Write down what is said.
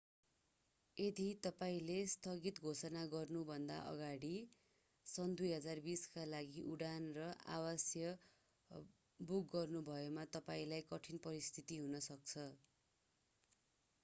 यदि तपाईंले स्थगित घोषणा गर्नुभन्दा अगाडि सन् 2020 का लागि उडान र आवास बुक गर्नुभएमा तपाईंलाई कठिन परिस्थिति हुन सक्छ